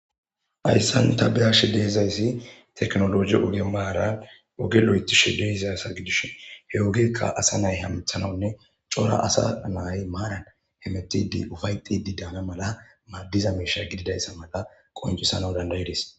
ayssan ta beashi deezayssi teknoloji uge maara oge lo7etishi deezay asa gidushe he ogekka asa nay hamthanawunne cora asa nay maanan he metidi ufay xidi daana mala maaddiza misha gididayssa mala qoncusana dandayidis